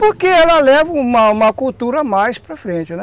Porque ela leva uma uma cultura mais para frente, né?